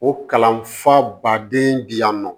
O kalan fa baden bɛ yan nɔ